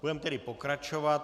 Budeme tedy pokračovat.